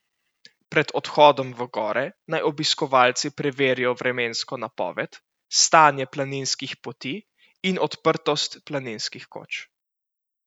Pred odhodom v gore naj obiskovalci preverijo vremensko napoved, stanje planinskih poti in odprtost planinskih koč.